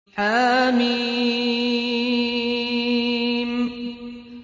حم